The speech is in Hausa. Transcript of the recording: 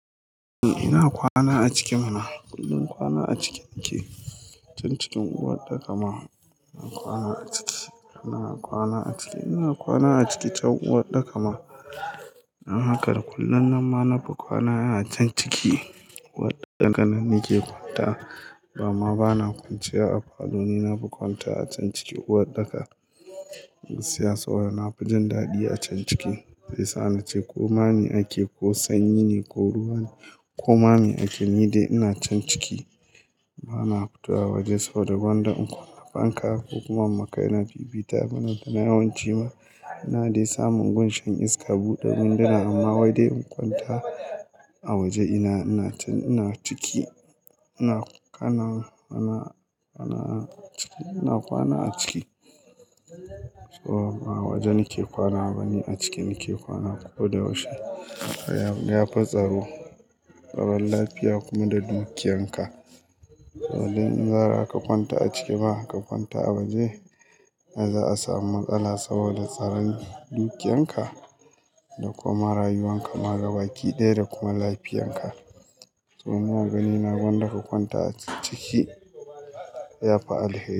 Eh ina kwana a ciki mana. Kullum kwana a ciki nake. Can cikin uwaɗɗaka ma, ina kwana a ciki. Ina kwana a ciki. Ina kwana a ciki can uwaɗɗaka ma. Don haka da kullum nan ma na fi kwana a can ciki. Uwaɗɗaka nan nake kwanta, amma bana kwanciya a falo, ni na fi kwanta a can ciki uwaɗɗaka. Siyasa wai na fi jin daɗi a can ciki. Sai sa na ce ko ma mi ake ko sanyi ne ko ruwa ne ko ma mi ake, ni dai ina can ciki. Ba na fitowa waje saboda gwanda in kunna fanka, ko kuma in ma kaina fifita, dan ina yawan ciwo. Ina dai samun gunshan iska, buɗe winduna amma wai dai in kwanta, a waje ina, ina can ina ciki. Ina kwana, kwana, kwana a ciki. Ina kwana a ciki. Toh, ba waje nake kwana ba ni a ciki nike kwana ko da yaushe. Ya fi tsaro. Tsaron lafiya kuma da dukiyanka. Saboda in ba za ka kwanta a ciki ba ka kwanta a waje, za'a samu matsala saboda tsaran dukiyanka, da kuma ma rayuwanka ma gabaki ɗaya da kuma lafiyanka. To ni a gani na gwanda ka kwanta a ciki, ya fi alheri.